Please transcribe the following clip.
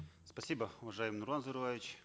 спасибо уважаемый нурлан зайроллаевич